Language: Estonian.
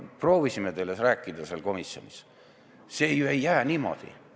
Proovisime teile ka komisjonis rääkida, et see asi ei jää niimoodi.